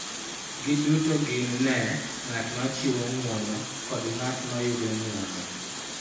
Giduto gin ne ng�at ma chiwo ng�uono kod ng�at ma yudo ng�uono.